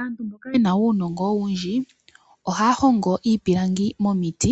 Aantu mboka yena uunongo owundji ohaya hongo iipilangi momiti